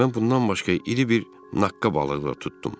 Mən bundan başqa iri bir naqqa balığı da tutdum.